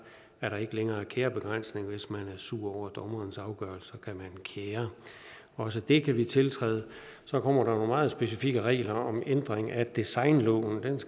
er der ikke længere kærebegrænsninger hvis man er sur over dommerens afgørelse kan man kære også det kan vi tiltræde så kommer der nogle meget specifikke regler om ændring af designloven